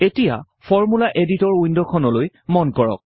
এতিয়া formula editor উইন্ডখনলৈ মন কৰক